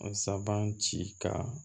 Saban ci ka